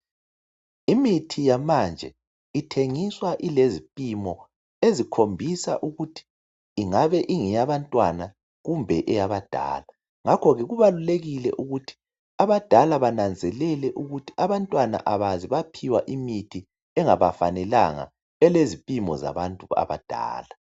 Imithi yamanje ithengiswa ilezipimo ezikhombisa ukuthi ingabe ingeyabantwana kumbe eyabadala. Ngakho ke kubalulekile ukuthi abadala bananzelele ukuthi abantwana abakaze baphiwa imithi engabafanelanga elezipimo zabantu abadala.